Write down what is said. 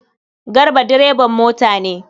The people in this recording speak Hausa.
Garba direban mota ne.